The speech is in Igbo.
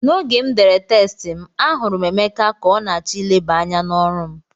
N'oge m dere test m, ahụrụ m Emeka ka ọ na-achọ ileba anya n'ọrụ m